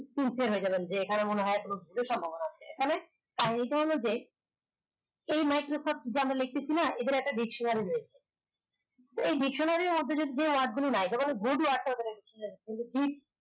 তুছে হয়ে যাবেন যে এখানে মনে হয় সম্ভাবনা আছে এখানে কারন যে এই microphone যেমন লেখতেছি না এদের একটা dictionary রয়েছে এই dictionary আমাদের go to